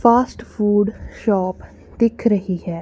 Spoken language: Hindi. फास्ट फूड शॉप दिख रही है।